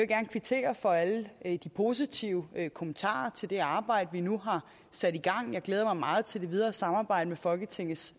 gerne kvittere for alle de positive kommentarer til det arbejde vi nu har sat i gang jeg glæder mig meget til det videre samarbejde med folketingets